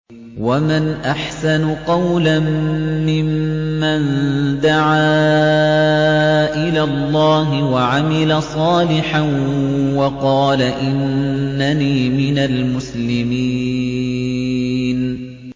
وَمَنْ أَحْسَنُ قَوْلًا مِّمَّن دَعَا إِلَى اللَّهِ وَعَمِلَ صَالِحًا وَقَالَ إِنَّنِي مِنَ الْمُسْلِمِينَ